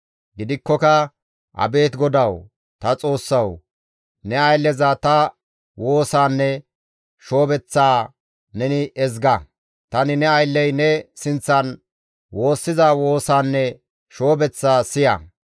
Gidikkoka abeet GODAWU, ta Xoossawu! Ne aylleza ta woosaanne shoobeththaa neni ezga. Tani ne aylley ne sinththan woossiza woosaanne shoobeththaa siya.